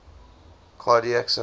cardiac syndrome